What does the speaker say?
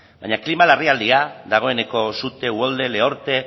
baina klima larrialdia dagoeneko sute uholde lehorte